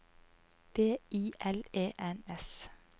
B I L E N S